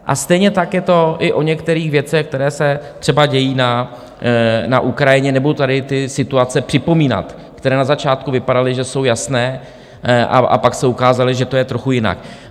A stejně tak je to i o některých věcech, které se třeba dějí na Ukrajině, nebudu tady ty situace připomínat, které na začátku vypadaly, že jsou jasné, a pak se ukázalo, že to je trochu jinak.